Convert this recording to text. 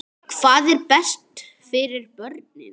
Hvað er best fyrir börnin?